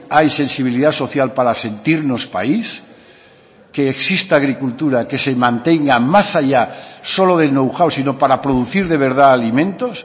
hay sensibilidad social para sentirnos país que exista agricultura que se mantenga más allá solo del know how sino para producir de verdad alimentos